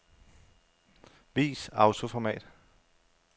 Vis autoformat.